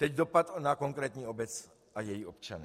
Teď dopad na konkrétní obec a její občany.